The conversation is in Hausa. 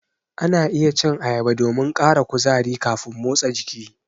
Ana iya cin ayaba domin ƙara kuzari kafin motsa jiki.